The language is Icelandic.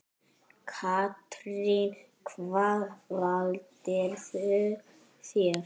Katrín: Hvað valdirðu þér?